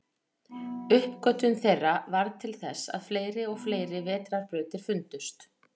Uppgötvun þeirra varð til þess að fleiri og fleiri vetrarbrautir fundust.